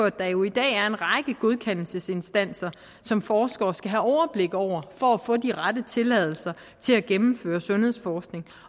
at der jo i dag er en række godkendelsesinstanser som forskere skal have overblik over for at få de rette tilladelser til at gennemføre sundhedsforskning